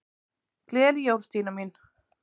Gleðileg jól, Stína mín.